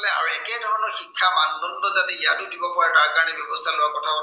তাৰ দৰে মানদণ্ড যাতে ইয়াতো দিব পৰা যায়, তাৰ কাৰনে ব্য়ৱস্থা লোৱাৰ কথাও